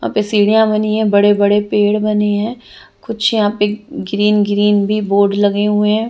यहाँ पे सीढ़ियाँ बनी है बड़े बड़े पेड़ बने हैं कुछ यहाँ पे ग्रीन ग्रीन भी बोर्ड लगे हुए हैं।